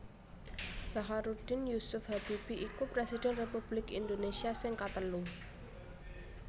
Bacharuddin Jusuf Habibie iku Presiden Republik Indonésia sing katelu